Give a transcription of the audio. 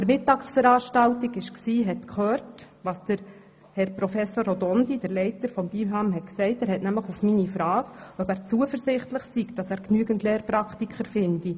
An der Mittagsveranstaltung mit Herrn Professor Robondi, dem Leiter des BIHAM, habe ich gefragt, ob er zuversichtlich sei, genügend Lehrpraktiker zu finden.